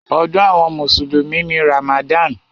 Ọdún àwọn mùsùlùmí ni Ramadan.